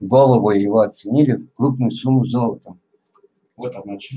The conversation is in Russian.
голову его оценили в крупную сумму золотом